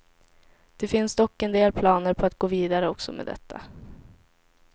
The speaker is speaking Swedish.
Det finns dock en del planer på att gå vidare också med detta.